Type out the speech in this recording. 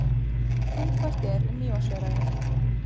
Þungfært er um Mývatnsöræfi